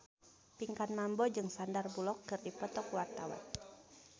Pinkan Mambo jeung Sandar Bullock keur dipoto ku wartawan